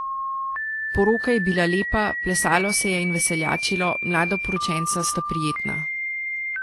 Poroka je bila lepa, plesalo se je in veseljačilo, mladoporočenca sta prijetna.